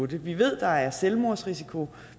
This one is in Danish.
det vi ved at der er selvmordsrisiko